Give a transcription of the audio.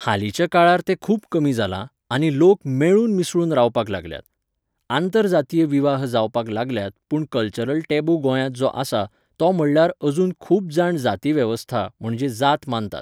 हालींच्या काळार तें खूब कमी जालां आनी लोक मेळून मिसळून रावपाक लागल्यात. आंतर जातीय विवाह जावपाक लागल्यात पूण कल्चरल टेबू गोंयांत जो आसा, तो म्हणल्यार अजून खूब जाण जाती वेवस्था म्हणजे जात मानतात.